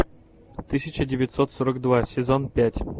тысяча девятьсот сорок два сезон пять